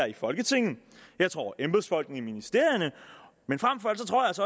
i folketinget og embedsfolkene i ministerierne